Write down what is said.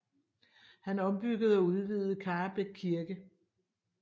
Han ombyggede og udvidede Karrebæk Kirke